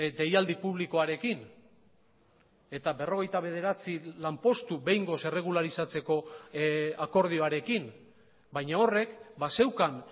deialdi publikoarekin eta berrogeita bederatzi lanpostu behingoz erregularizatzeko akordioarekin baina horrek bazeukan